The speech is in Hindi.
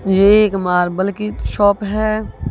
ये एक मार्बल की शॉप है।